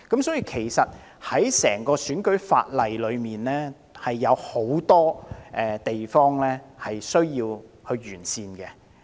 在整個選舉法例當中，其實有很多地方也需要完善。